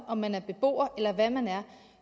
om man er beboer eller hvad man er